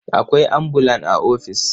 Akwai ambulan a ofis.